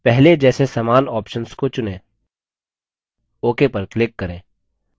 पहले जैसे समान options को चुनें ok पर click करें